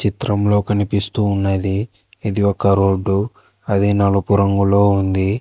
చిత్రంలో కనిపిస్తూ ఉన్నది ఇది ఒక రోడ్డు అది నలుపు రంగులో ఉంది.